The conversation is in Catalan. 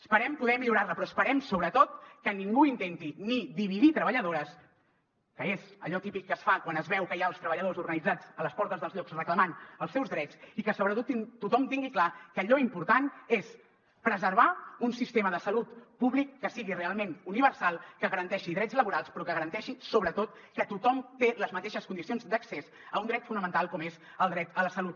esperem poder millorar la però esperem sobretot que ningú intenti ni dividir treballadores que és allò típic que es fa quan es veu que hi ha els treballadors organitzats a les portes dels llocs reclamant els seus drets i que sobretot tothom tingui clar que allò important és preservar un sistema de salut públic que sigui realment universal que garanteixi drets laborals però que garanteixi sobretot que tothom té les mateixes condicions d’accés a un dret fonamental com és el dret a la salut